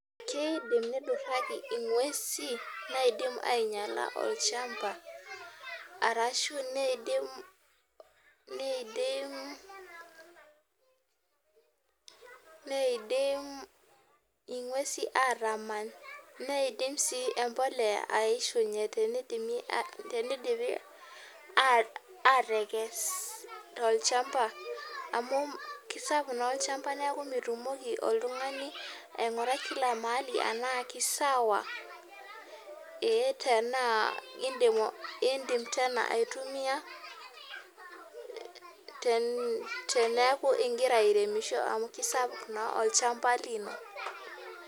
Keidim niduraki ngwesin naidim niduraki olchamba arashu neidim neidim ingwesin atamany neidim si empolea tenidimi si atekes amu kesapuk na olchamba neaku mitumoki oltungani aimgurai kila mahali tanaa kisawa tanaa indim aitumia teneaku ingira aremisho amu kisapuk na olchamba lino.